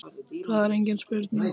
Það er engin spurning